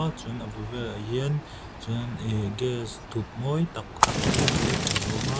chuan a bul velah hian chuan ihh gas thuk mawi tak tak te hmuh tur a awm a--